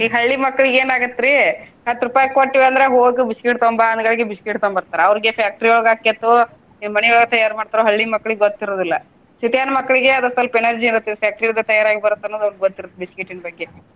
ಈಗ ಹಳ್ಳಿ ಮಕ್ಳಿಗ ಏನಾಗೇತ್ರಿ ಹತ್ತ್ ರೂಪಾಯಿ ಕೊಟ್ವಿ ಅಂದ್ರ ಹೋಗಿ biscuit ತೊಗೊಂಬಾ ಅಂದ್ ಗಳ್ಗಿ biscuit ತೊಂಬರ್ತಾರ. ಅವ್ರಿಗೆ factory ಯೊಳಗ ಆಕ್ಕೇತ್ತೋ ಏನ ಮನಿಯೊಳಗ ತಯಾರ ಮಾಡ್ತಾರೊ ಹಳ್ಳಿ ಮಕ್ಳಿಗೆ ಗೊತ್ತ ಇರೋದಿಲ್ಲ city ನ ಮಕ್ಳಿಗೆ ಅದ ಸ್ವಲ್ಪ ಇರುತ್ತೆ factory ಯೊಳಗ ತಯಾರಾಗಿ ಬರುತ್ತ ಅನ್ನೋದ ಅವ್ರಿಗೆ ಗೊತ್ತ ಇರುತ್ತ biscuit ನ ಬಗ್ಗೆ.